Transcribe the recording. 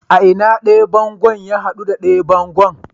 A ina ɗaya bango ya hadu da ɗaya bango?